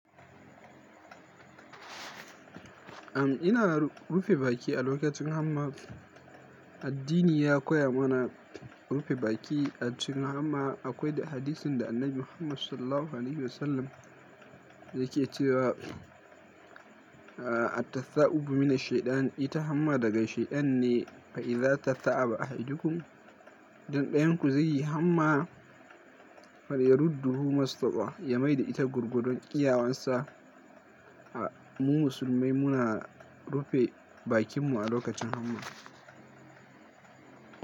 Am, ina rufe baki a lokacin hamma. Addini ya koya mana rufe baki a cikin hamma. Akwai da hadisin da Annabi Muhammad SAW yake cewa, a, “Attatha'u mina shaytan ita hamma daga shayan ne, fa iza tatha'aba a hidikum.” Don ɗayan ku zai yi hamma mar yarudduhu mastaba, ya maida ita gurgudon kiyawansa. Mu musulmai muna rufe bakinmu a lokacin hamma.